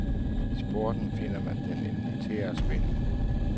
I sporten finder man den elementære spænding.